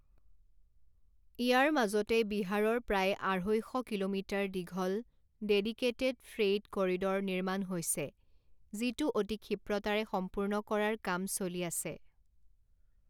ইয়াৰ মাজতে বিহাৰৰ প্ৰায় আঢ়ৈইশ কিলোমিটাৰ দীঘল ডেডিকেটেট ফ্ৰেইট কৰিড ৰ নিৰ্মাণ হৈছে, যিটো অতি ক্ষীপ্ৰতাৰে সম্পূৰ্ণ কৰাৰ কাম চলি আছে।